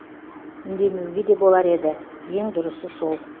үндемеуге де болар еді ең дұрысы сол